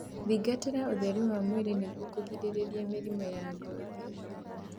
Thingatĩra ũtheru wa mwĩrĩ nĩguo kugirĩrĩria mĩrimũ ya ngothi